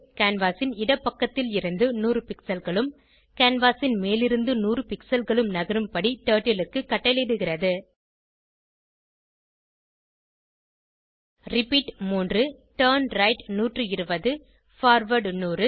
canvas ன் இடப்பக்கத்திலிருந்து 100 pixelகளும் கேன்வாஸ் ன் மேலிருந்து 100 பிக்ஸல் களும் நகரும் படி டர்ட்டில் க்கு கட்டளையிடுகிறது ரிப்பீட் 3turnright 120 பார்வார்ட் 100